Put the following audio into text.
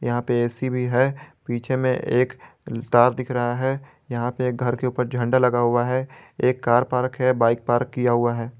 यहां पे ऐ_सी भी है पीछे में एक तार दिख रहा है यहां पे एक घर के ऊपर झंडा लगा हुआ है एक कार पार्क है बाइक पार्क किया हुआ है।